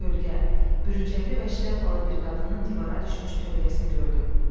Kölqə, bürüncəqli və şlyapalı bir qadının divara düşmüş kölgəsini gördüm.